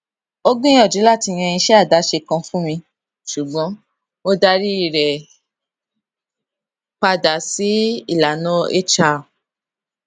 ó gbìyànjú láti yan iṣẹ àdáṣe kan fún mi ṣùgbọn mo darí rẹ padà sí ìlànà hr